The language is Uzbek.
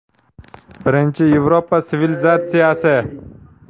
Birinchi Yevropa sivilizatsiyasi.